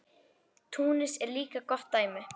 Túnis er líka gott dæmi.